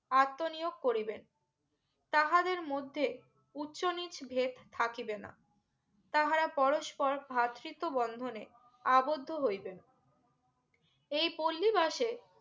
আত্মনিয়োগ করিবেন তাহাদের মধ্যে উচ্চ নিচ ভেদ থাকিবে না তাহারা পরস্পর ভ্রাতৃত্ব বন্ধনে আবদ্ধ হইবে এই পল্লিবাসে